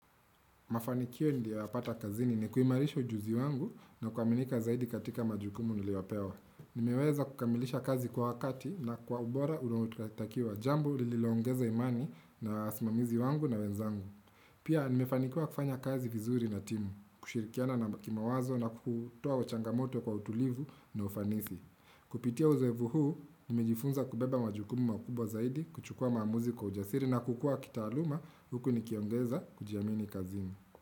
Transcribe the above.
Mafanikio niliyoyapata kazini ni kuimarisha ujuzi wangu na kuaminika zaidi katika majukumu niliyopewa. Nimeweza kukamilisha kazi kwa wakati na kwa ubora unaotakiwa. Jambo lililoongeza imani na wasimamizi wangu na wenzangu. Pia nimefanikiwa kufanya kazi vizuri na timu, kushirikiana na kimawazo na kutoa changamoto kwa utulivu na ufanisi. Kupitia uzoevu huu, nimejifunza kubeba majukumu makubwa zaidi kuchukua maamuzi kwa ujasiri na kukua kitaaluma Huku nikiongeza kujiamini kazini.